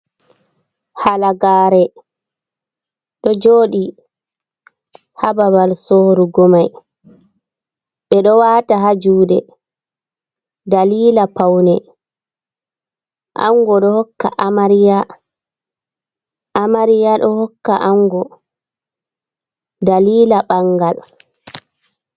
Halagare. Ɗo joɗi ha babal sorugo mai. be ɗo wata ha juɗe ɗalila paune. Ango ɗo hokka Amariya. Amariya ɗo hokka Ango ɗalila bangal.